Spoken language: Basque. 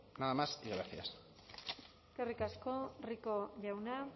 nada más y gracias eskerrik asko rico jauna